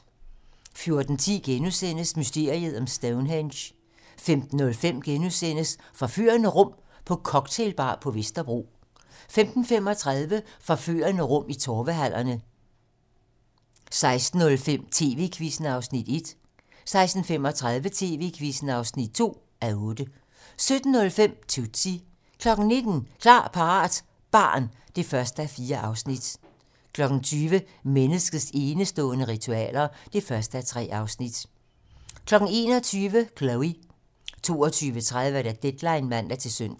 14:10: Mysteriet om Stonehenge * 15:05: Forførende rum på cocktailbar på Vesterbro * 15:35: Forførende rum i Torvehallerne 16:05: TV-Quizzen (1:8) 16:35: TV-Quizzen (2:8) 17:05: Tootsie 19:00: Klar, parat - barn (1:4) 20:00: Menneskets enestående ritualer (1:3) 21:00: Chloe 22:30: Deadline (man-søn)